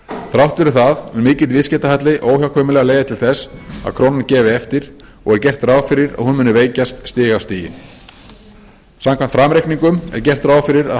þrátt fyrir það mun mikill viðskiptahalli óhjákvæmilega leiða til þess að krónan gefi eftir og er gert ráð fyrir að hún muni veikjast stig af stigi samkvæmt framreikningum er gert ráð fyrir að